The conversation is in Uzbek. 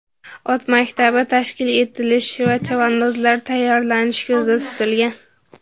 Ot maktabi tashkil etilishi va chavandozlar tayyorlanishi ko‘zda tutilgan.